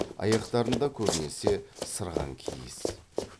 аяқтарында көбінесе сырған киіз